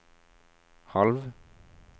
halv